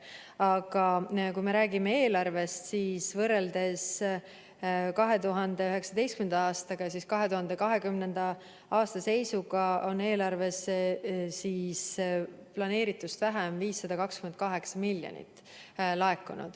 Aga kui me räägime eelarvest, siis võrreldes 2019. aastal vastuvõetud eelarvega laekus 2020. aasta eelarvesse planeeritust vähem 528 miljonit.